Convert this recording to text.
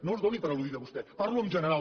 no es doni per al·ludida vostè parlo en general